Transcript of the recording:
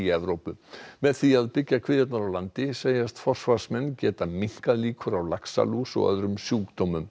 Evrópu með því að byggja kvíarnar á landi segjast forsvarsmenn geta minnkað líkur á laxalús og öðrum sjúkdómum